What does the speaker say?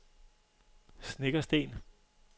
Snekkersten